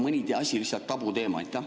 Või on mõni asi lihtsalt tabuteema?